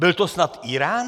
Byl to snad Írán?